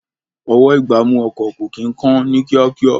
Ọwọ́-ìgbámú ọkọ̀ kò kí ń kán ní kíákíá